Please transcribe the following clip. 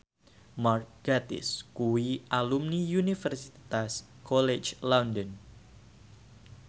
Mark Gatiss kuwi alumni Universitas College London